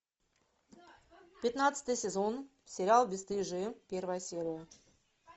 пятнадцатый сезон сериал бесстыжие первая серия